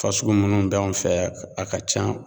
Fasugu munnu b'an fɛ yan a ka ca